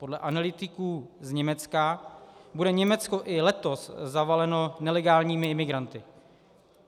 Podle analytiků z Německa bude Německo i letos zavaleno nelegálními imigranty.